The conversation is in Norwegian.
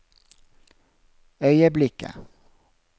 øyeblikket